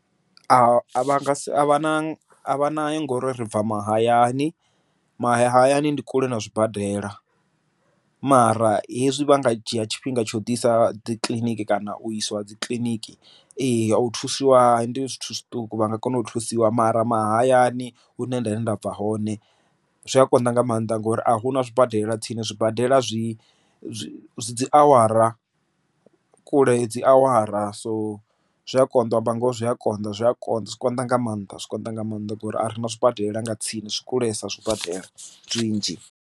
Avha nga si a vha na a vha na ngori ri bva mahayani mahayani ndi kule na zwibadela mara hezwi vha nga dzhia tshifhinga tsha u ḓisa dzi kiḽiniki kana u iswa dzi kiḽiniki ee u thusiwa ndi zwithu zwiṱuku vha nga kona u thusiwa mara, mahayani hune nda nṋe nda bva hone zwi a konḓa nga maanḓa ngori a hu na zwi badelela tsini zwibadela zwi zwi a awara kule dzi awara so zwi a konḓa banngaho zwi a konḓa zwi a konḓa zwi a konḓa nga maanḓa zwikonḓa nga maanḓa ngori a re na zwibadela nga tsini zwi kulesa zwibadela tshinzhi.